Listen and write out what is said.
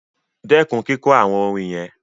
Stop singing those chants